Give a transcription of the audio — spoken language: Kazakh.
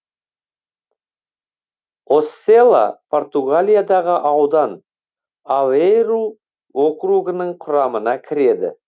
оссела португалиядағы аудан авейру округінің құрамына кіреді